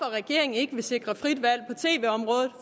regeringen ikke vil sikre frit valg